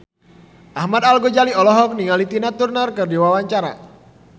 Ahmad Al-Ghazali olohok ningali Tina Turner keur diwawancara